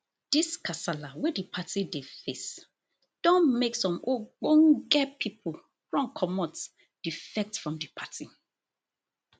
dis kasala wey di party dey face don make some ogbonge pipo run comot defect from di party